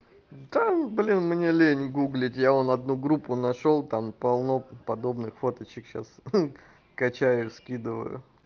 да блин мне лень гуглить я вон одну группу нашёл там полно подобных фоточек сейчас ха качаю скидываю